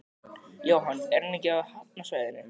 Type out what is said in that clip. Jóhann: Er hann ekki á hafnarsvæðinu?